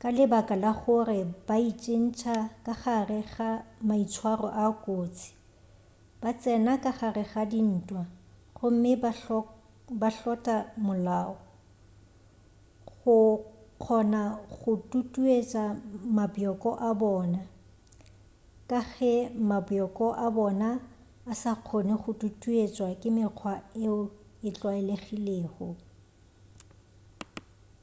ka lebaka la gore ba itsentšha ka gare ga maitshwaro a kotsi ba tsena ka gare ga dintwa gomme ba hlotla molao go kgona go tutuetša mabjoko a bona ka ge mabjoko a bona a sa kgone go tutuetšwa ke mekgwa yeo e tlwaelegilego